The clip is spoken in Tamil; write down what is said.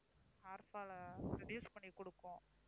hair fall அ reduce பண்ணிக் கொடுக்கும்